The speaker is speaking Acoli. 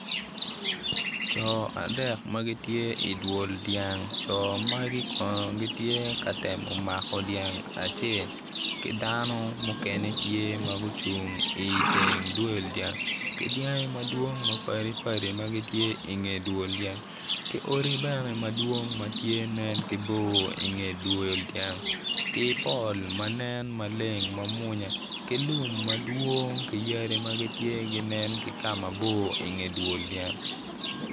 Co adek ma gitye i dwol dyang co magi kono gitye ka temo mako dyang acel ki dano mukene tye ma gucung iteng dwol dyang ki dyangi madwog mapadi padi ma gitye i nge dwol dyang ki odi bene tye ma nen ki bor i nge dwol dyang ki pol ma nen maleng ma munya ki lum amdwong ki yadi ma ginen ki kama bor i nge dwol dyang